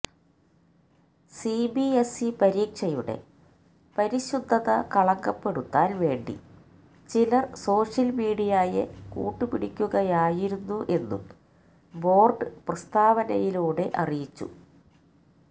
CBSE പരീക്ഷയുടെ പരിശുദ്ധത കളങ്കപ്പെടുത്താൻ വേണ്ടി ചിലർ സോഷ്യൽ മീഡിയയെ കൂട്ടുപിടിക്കുകയായിരുന്നു എന്നും ബോർഡ് പ്രസ്താവനയിലൂടെ അറിയിച്ചു